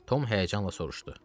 Tom həyəcanla soruşdu.